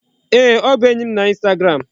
Ee, ọ bụ enyi na instagram.